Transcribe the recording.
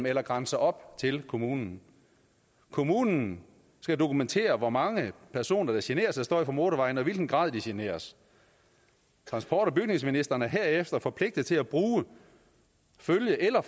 eller grænser op til kommunen kommunen skal dokumentere hvor mange personer der generes af støj fra motorvejen og i hvilken grad de generes transport og bygningsministeren er herefter forpligtet til at bruge følg eller